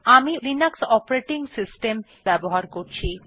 আমি Linux operating system ব্যবহার করছি